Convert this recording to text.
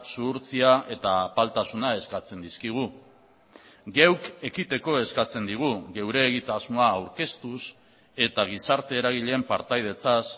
zuhurtzia eta apaltasuna eskatzen dizkigu geuk ekiteko eskatzen digu geure egitasmoa aurkeztuz eta gizarte eragileen partaidetzaz